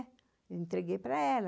Eu entreguei para ela.